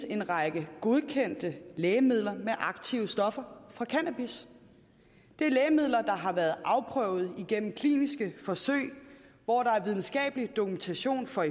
en række godkendte lægemidler med aktive stoffer fra cannabis det er lægemidler der har været afprøvet igennem kliniske forsøg hvor der er videnskabelig dokumentation for